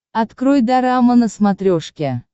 открой дорама на смотрешке